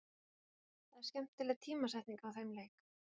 Það er skemmtileg tímasetning á þeim leik.